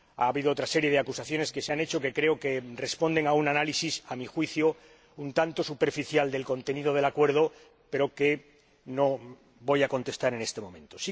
Ha habido otra serie de acusaciones que creo que responden a un análisis, a mi juicio, un tanto superficial del contenido del Acuerdo, pero que no voy a contestar en este momento.